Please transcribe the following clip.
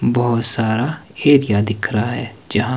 बहोत सारा एरिया क्या दिख रहा है जहां--